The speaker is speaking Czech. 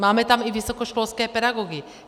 Máme tam i vysokoškolské pedagogy.